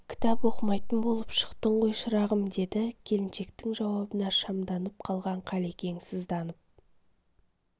кітап оқымайтын болып шықтың ғой шырағым деді келіншектің жауабына шамданып қалған қалекең сызданып